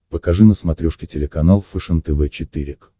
покажи на смотрешке телеканал фэшен тв четыре к